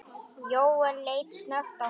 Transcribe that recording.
Jóel leit snöggt á hana.